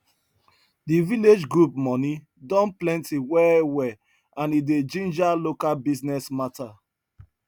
di village group money don plenty well well and e dey ginger local business matter